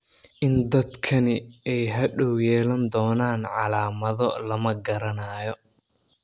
In dadkani ay hadhow yeelan doonaan calaamado lama garanayo.